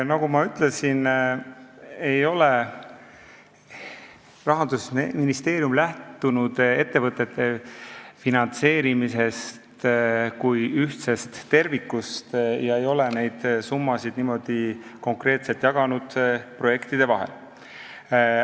Nagu ma ütlesin, Rahandusministeerium on lähtunud ettevõtte finantseerimisest kui ühtsest tervikust ega ole neid summasid niimoodi konkreetselt projektide vahel jaganud.